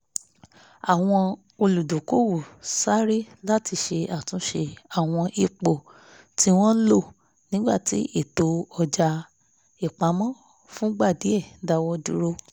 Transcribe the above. àwọn olùdókòwò sáré láti ṣe àtúnṣe àwọn ipò tí wọ́n lò nígbà tí ètò ọjà-ìpamọ́ fúngbà díẹ̀ dáwọ́ dúró